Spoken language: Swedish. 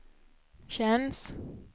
känns